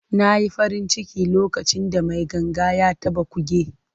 Na yi farin ciki lokacin da mai ganga ya taɓa kuge.